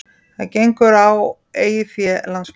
Það gengur á eigið fé landsmanna